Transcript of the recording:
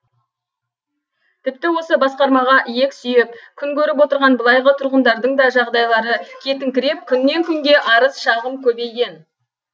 тіпті осы басқармаға иек сүйеп күн көріп отырған былайғы тұрғындардың да жағдайлары кетіңкіреп күннен күнге арыз шағым көбейген